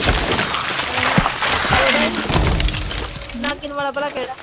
ਨਾਗਿਨ ਵਾਲਾ ਭਲਾਂ ਕਿਹੜਾ।